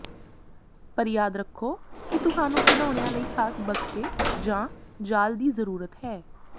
ਪਰ ਯਾਦ ਰੱਖੋ ਕਿ ਤੁਹਾਨੂੰ ਖਿਡੌਣਿਆਂ ਲਈ ਖਾਸ ਬਕਸੇ ਜਾਂ ਜਾਲ ਦੀ ਜ਼ਰੂਰਤ ਹੈ